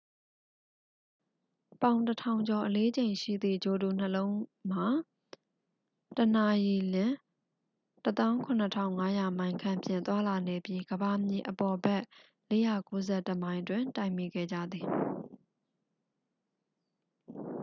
ပေါင် 1,000 ကျော်အလေးချိန်ရှိသည့် ဂြိုလ်တုနှစ်ခုလုံးမှာ တစ်နာရီလျှင် 17,500 မိုင်ခန့်ဖြင့် သွားလာနေပြီး ကမ္ဘာမြေအပေါ်ဘက် 491 မိုင်တွင် တိုက်မိခဲ့ကြသည်